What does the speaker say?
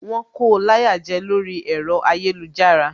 Wón ko láyà jẹ lórí ẹ̀rọ ayélujára